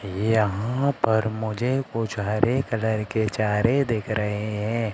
यहां पर मुझे कुछ हरे कलर के चारें दिख रहे हैं।